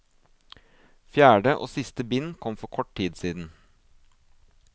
Fjerde og siste bind kom for kort tid siden.